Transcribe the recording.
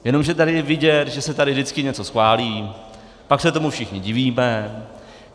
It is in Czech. Jenomže tady je vidět, že se tady vždycky něco schválí, pak se tomu všichni divíme.